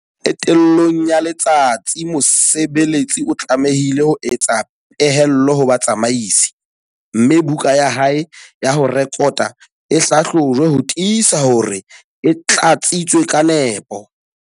Qetellong ya letsatsi mosebeletsi o tlamehile ho etsa pehelo ho batsamaisi, mme buka ya hae ya ho rekota e hlahlojwe ho tiisa hore e tlatsitswe ka nepo.